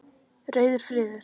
Rauður friður.